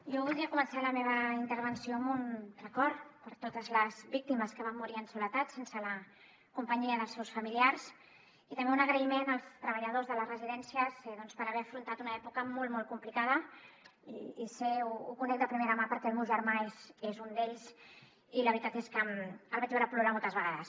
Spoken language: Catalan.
jo voldria començar la meva intervenció amb un record per totes les víctimes que van morir en soledat sense la companyia dels seus familiars i també un agraïment als treballadors de les residències per haver afrontat una època molt molt complicada i ho sé ho conec de primera mà perquè el meu germà és un d’ells i la veritat és que el vaig veure plorar moltes vegades